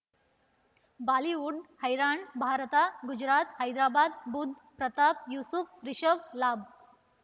Bollywood ಹೈರಾಣ್ ಭಾರತ ಗುರುನಾಥ ಹೈದರಾಬಾದ್ ಬುಧ್ ಪ್ರತಾಪ್ ಯೂಸುಫ್ ರಿಷಬ್ ಲಾಭ